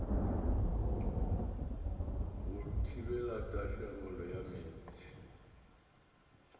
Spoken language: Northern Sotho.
go thibela tahlegelo ya meetse